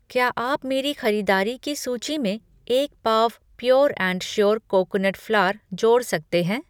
क्या आप मेरी ख़रीदारी की सूची में एक पाव pure and sure coconut flour जोड़ सकते हैं?